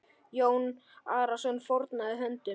Jón Arason fórnaði höndum.